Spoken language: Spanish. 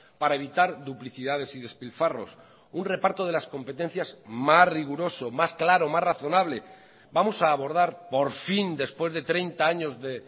para evitar duplicidades y despilfarros un reparto de las competencias más riguroso más claro más razonable vamos a abordar por fin después de treinta años de